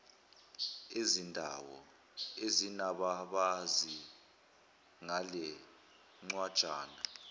ezindawo ezinababazi ngalencwajana